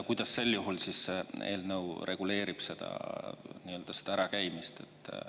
Kuidas siis sel juhul see eelnõu reguleerib seda ära käimist?